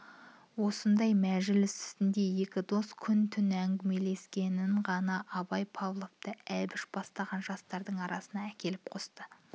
осындай мәжіліс үстінде екі дос күн-түн әңгімелескенсін ғана абай павловты әбіш бастаған жастардың арасына әкеліп қосқан